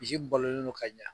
Misi balolen do ka ɲɛ.